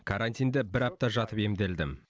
карантинде бір апта жатып емделдім